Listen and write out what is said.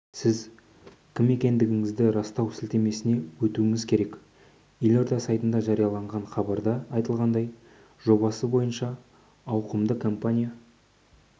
сіз кім екендігіңізді растау сілтемесіне өтуіңіз керек елорда сайтында жарияланған хабарда айтылғандай жобасы бойынша ауқымдауды компания